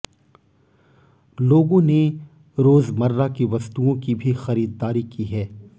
लोगों ने रोजमर्रा की वस्तुओं की भी खरीददारी की है